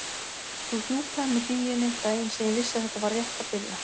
Þú hjúpaðir mig hlýjunni, daginn sem ég vissi að þetta var rétt að byrja.